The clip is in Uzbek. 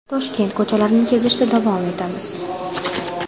Toshkent ko‘chalarini kezishda davom etamiz.